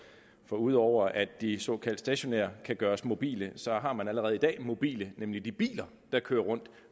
for ud over at de såkaldt stationære kan gøres mobile så har man allerede i dag mobile nemlig i de biler der kører rundt